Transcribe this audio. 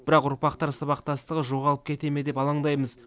бірақ ұрпақтар сабақтастығы жоғалып кете ме деп алаңдаймыз